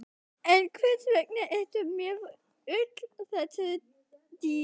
En hvers vegna ertu með öll þessi dýr?